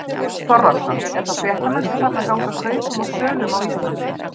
Björn Þorláksson: Er þá fréttamennska farin að ganga kaupum og sölum á Íslandi?